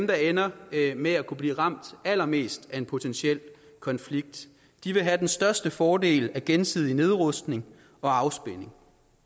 der ender med at kunne blive ramt allermest af en potentiel konflikt de vil have den største fordel af gensidig nedrustning og afspænding